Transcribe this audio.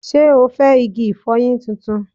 Ṣé o fẹ́ igi ìfọyín tuntun?